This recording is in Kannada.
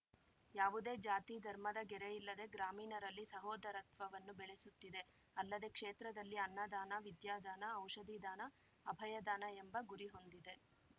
ಯಾವುದೇ ಜಾತಿ ಧರ್ಮದ ಗೆರೆಯಿಲ್ಲದೆ ಗ್ರಾಮೀಣರಲ್ಲಿ ಸಹೋದರತ್ವವನ್ನು ಬೆಳೆಸುತ್ತಿದೆ ಅಲ್ಲದೆ ಕ್ಷೇತ್ರದಲ್ಲಿ ಅನ್ನದಾನ ವಿದ್ಯಾದಾನ ಔಷಧಿ ದಾನಅಭಯದಾನ ಎಂಬ ಗುರಿಹೊಂದಿದೆ